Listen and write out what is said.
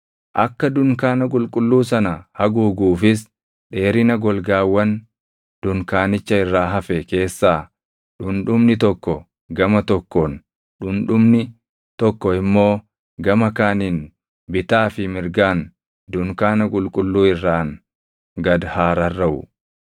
Akka dunkaana qulqulluu sana haguuguufis dheerina golgaawwan dunkaanicha irraa hafe keessaa dhundhumni tokko gama tokkoon, dhundhumni tokko immoo gama kaaniin bitaa fi mirgaan dunkaana qulqulluu irraan gad haa rarraʼu.